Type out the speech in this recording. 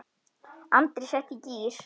Andri setti í gír.